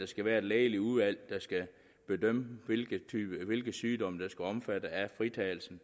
skal være et lægeligt udvalg der skal bedømme hvilke sygdomme der skal omfattes af fritagelsen